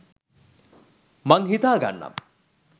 මං හිතා ගන්නම්